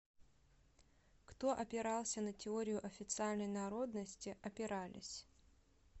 кто опирался на теорию официальной народности опирались